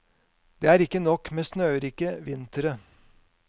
Det er ikke nok med snørike vintre.